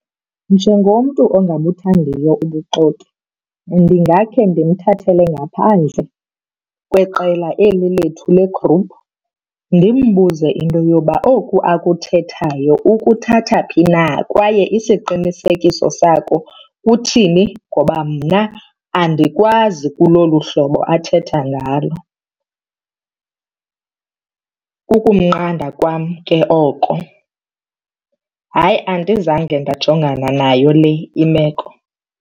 Njengomntu ongabuthandiyo ubuxoki ndingakhe ndimthathele ngaphandle kweqela eli lethu legruphu ndimbuze into yoba oku akuthethayo ukuthatha phi na kwaye isiqinisekiso sakho uthini ngoba mna andikwazi kulo luhlobo athetha ngalo. Kukumnqanda kwam ke oko. Hayi, andizange ndajongana nayo le imeko.